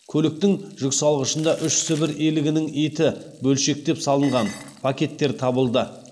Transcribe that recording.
көліктің жүксалғышында үш сібір елігінің еті бөлшектеп салынған пакеттер табылды